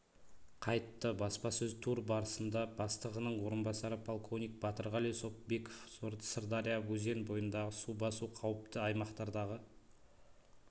қайтты баспасөз-тур барысында бастығының орынбасары полковник батырғали сопбеков сырдарья өзен бойындағы су басу қауіпті аймақтардағы